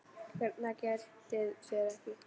BJÖRN: Það getið þér ekki.